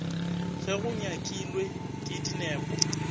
ge go nyakilwe ke dinepo